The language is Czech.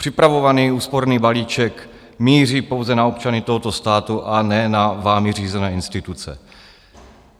Připravovaný úsporný balíček míří pouze na občany tohoto státu, a ne na vámi řízené instituce.